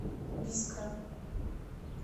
бискра